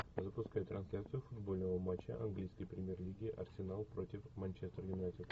запускай трансляцию футбольного матча английской премьер лиги арсенал против манчестер юнайтед